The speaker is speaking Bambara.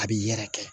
A bi yɛrɛ kɛ